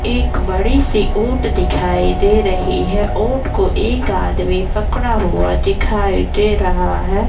एक बड़ी-सी ऊट दिखाई दे रही है ऊट को एक आदमी पकड़ा हुआ दिखाई दे रहा है।